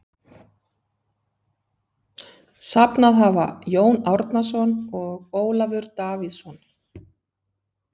Safnað hafa Jón Árnason og Ólafur Davíðsson.